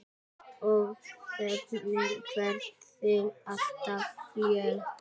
Og þögnin hverfur alltof fljótt.